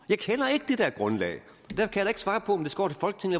jeg kender ikke det der grundlag